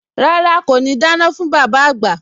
Rárá, kò ní dáná fún bàbá àgbà